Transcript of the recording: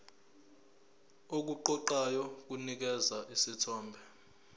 okuqoqayo kunikeza isithombe